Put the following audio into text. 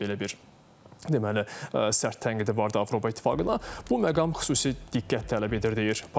Belə bir, deməli, sərt tənqid də vardı Avropa İttifaqına, bu məqam xüsusi diqqət tələb edir, deyir Papiaşvili.